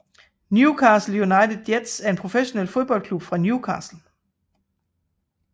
Newcastle United Jets er en professionel fodboldklub fra Newcastle